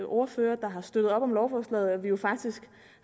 ordførere der har støttet op om lovforslaget og at vi jo faktisk